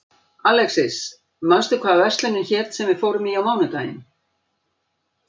Alexis, manstu hvað verslunin hét sem við fórum í á mánudaginn?